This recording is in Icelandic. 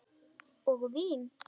Og vín.